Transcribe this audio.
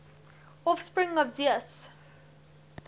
offspring of zeus